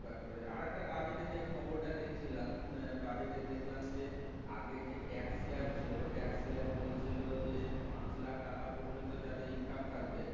কাজ করেছে আর একটা budget যে খবরটা দেখছিলাম budget দেখলাম যে আগে যে TAX slave ছিল TAX slave বলছিল যে পাঁচ লাখ টাকা পর্যন্ত যাদের income থাকবে